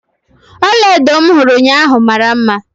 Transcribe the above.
Ọlaedo m hụrụ ụnyaahụ mara mma.